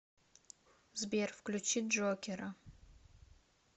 сбер включи джокера